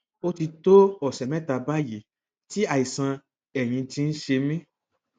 ó ti tó ọsẹ mẹta báyìí tí àìsàn ẹyìn ti ń ṣe mí